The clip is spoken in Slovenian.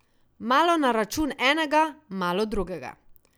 Malo na račun enega, malo drugega.